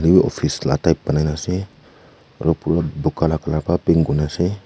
etu office la type banai na ase aru bu bura laga colour para paint kurine ase.